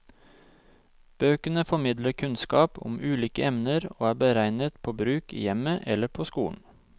Bøkene formidler kunnskap om ulike emner og er beregnet på bruk i hjemmet eller på skolen.